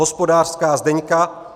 Hospodářská Zdeňka